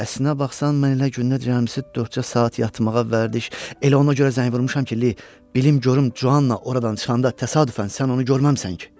Əslinə baxsan, mən elə gündə rəmzi dörd saat yatmağa vərdiş, elə ona görə zəng vurmuşam ki, bilim görüm Cuanla oradan çıxanda təsadüfən sən onu görməmisən ki?